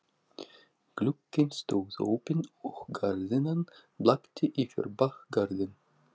Glugginn stóð opinn og gardínan blakti yfir bakgarðinn.